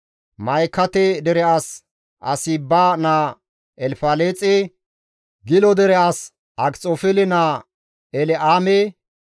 Ma7ikate dere as Ahasiba naa Elfaleexe, Gilo dere as Akxofeele naa El7aame,